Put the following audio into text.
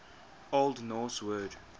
old norse word